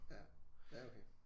Ja ja okay